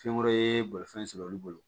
Fɛn wɛrɛ ye bolifɛn sɔrɔ olu bolo